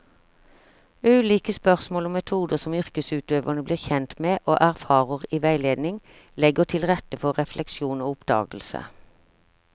Ulike spørsmål og metoder som yrkesutøverne blir kjent med og erfarer i veiledning, legger til rette for refleksjon og oppdagelse.